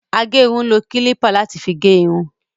Agérun ń lo kílípà láti fi gé irun